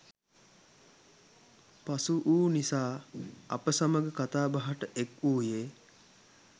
පසුවූ නිසා අප සමඟ කතා බහට එක්වූයේ